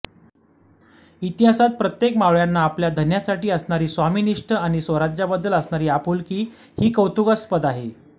इतिहासात प्रत्येक मावळ्यांना आपल्या धन्यासाठी असणारी स्वामिनिष्ठ आणि स्वराज्याबद्दल असणारी आपुलकी ही कौतुकास्पद आहे